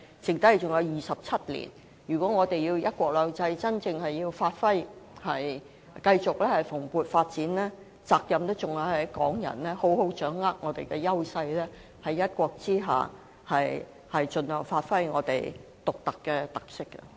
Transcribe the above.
在未來的30年，如果我們想"一國兩制"真正發揮，繼續蓬勃發展，責任在於港人須好好掌握我們的優勢，在"一國"下盡量發揮我們獨有的特色。